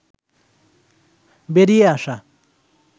বেরিয়ে আসা